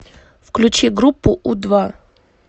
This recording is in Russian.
включи группу у два